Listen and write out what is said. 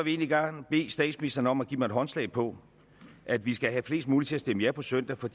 egentlig gerne bede statsministeren om at give mig håndslag på at vi skal have flest mulige til at stemme ja på søndag for